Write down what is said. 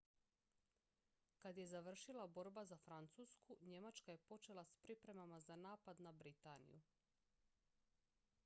kad je završila borba za francusku njemačka je počela s pripremama za napad na britaniju